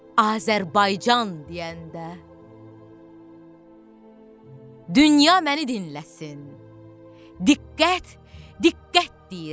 Azərbaycan deyəndə, dünya məni dinləsin, diqqət, diqqət deyirəm.